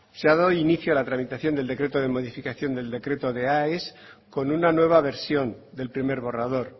se ha dado inicio a la tramitación del decreto de modificación de aes con una nueva versión del primer borrador